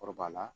Kɔrɔbaya